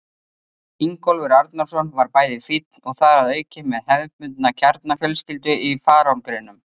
Ingólfur Arnarson var bæði fínn og þar að auki með hefðbundna kjarnafjölskyldu í farangrinum.